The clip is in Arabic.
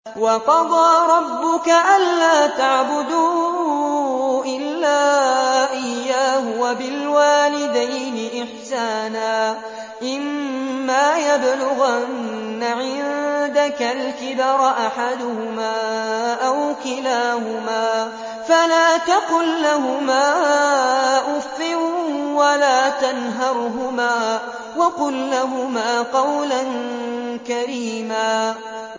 ۞ وَقَضَىٰ رَبُّكَ أَلَّا تَعْبُدُوا إِلَّا إِيَّاهُ وَبِالْوَالِدَيْنِ إِحْسَانًا ۚ إِمَّا يَبْلُغَنَّ عِندَكَ الْكِبَرَ أَحَدُهُمَا أَوْ كِلَاهُمَا فَلَا تَقُل لَّهُمَا أُفٍّ وَلَا تَنْهَرْهُمَا وَقُل لَّهُمَا قَوْلًا كَرِيمًا